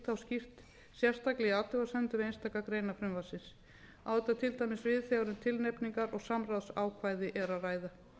skýrt sérstaklega í athugasemdum við einstakar greinar frumvarpsins á þetta til dæmis við þegar um tilnefningar og samráðsákvæði er að ræða